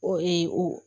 O ee o